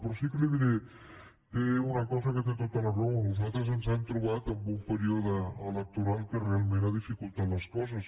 però sí que li diré una cosa en què té tota la raó nosaltres ens hem trobat amb un període electoral que realment ha dificultat les coses